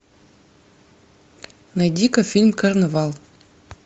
найди ка фильм карнавал